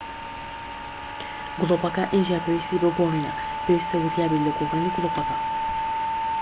گڵۆپەکە ئینجا پێویستی بە گۆڕینە پێویستە وریابیت لە گۆڕینی گڵۆپەکە